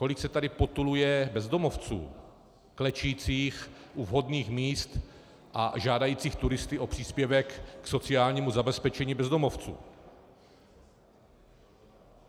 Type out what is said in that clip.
Kolik se tady potuluje bezdomovců klečících u vhodných míst a žádajících turisty o příspěvek k sociálnímu zabezpečení bezdomovců.